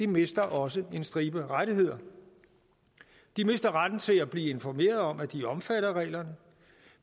mister også en stribe rettigheder de mister retten til at blive informeret om at de er omfattet af reglerne